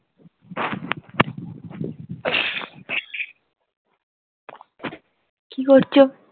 কি করছো?